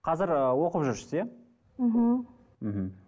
қазір ыыы оқып жүрсіз иә мхм мхм